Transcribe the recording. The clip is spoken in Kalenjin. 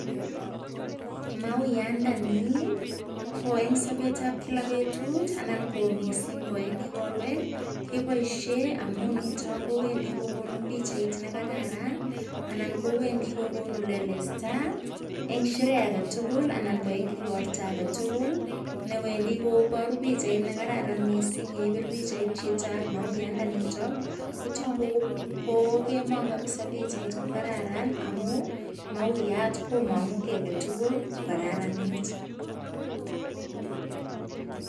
Mauyandani ko en sobetab kila betut anan ko mising ko en igorwek keboishen amun nito kowendi kogonu pichait nekararan anan kowendi kogonu lelesta en sherehe agetugul anan ko en igorto agetugul ne wendi koboru pichait ne kararan mising ye ibir pichait chito ak mauyandenito kotogu kogemong kabisa pichait kokararan amun mauayat komong'u kiy agetugul kokararanit.